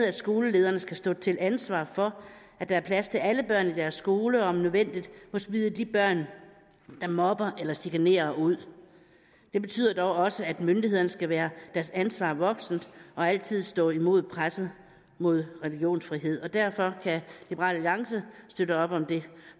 at skolelederne skal stå til ansvar for at der er plads til alle børn i deres skole og om nødvendigt må smide de børn der mobber eller chikanerer ud det betyder dog også at myndighederne skal være deres ansvar voksent og altid stå imod presset mod religionsfrihed derfor kan liberal alliance støtte op om det